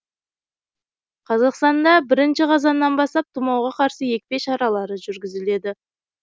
қазақстанда бірінші қазаннан бастап тұмауға қарсы екпе шаралары жүргізіледі